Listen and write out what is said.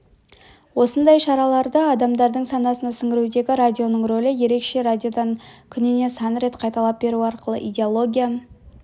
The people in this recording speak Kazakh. осындай шараларды адамдардың санасына сіңірудегі радионың рөлі ерекше радиодан күніне сан рет қайталап беру арқылы идеология